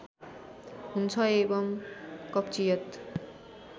हुन्छ एवं कब्जियत